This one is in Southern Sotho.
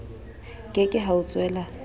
ke ke ha o tswela